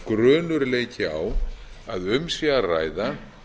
að grunur leiki á að um sé að ræða